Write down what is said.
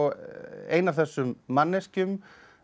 ein af þessum manneskjum